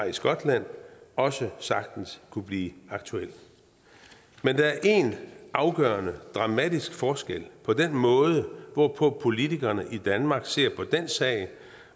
i skotland også sagtens kunne blive aktuel men der er en afgørende og dramatisk forskel på den måde hvorpå politikerne i danmark ser på den sag